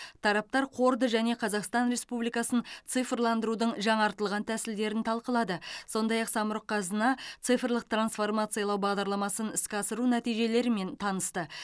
тараптар қорды және қазақстан республикасын цифрландырудың жаңартылған тәсілдерін талқылады сондай ақ самұрық қазына цифрлық трансформациялау бағдарламасын іске асыру нәтижелерімен танысты